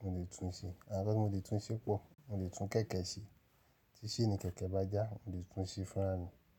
mo lè tún ṣe, àwon nkan ti mo lè tún iṣẹ́ pọ, mo lè tún kẹ̀kẹ́ ṣe tí ṣeni kẹ̀kẹ́ bá já, mo lè tún ṣe fúnra mi.